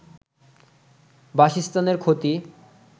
বাসস্থানের ক্ষতি